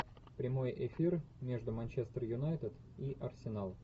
прямой эфир между манчестер юнайтед и арсенал